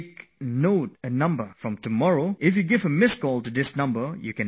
From tomorrow, you can give a missed call on this number and listen to Mann ki Baat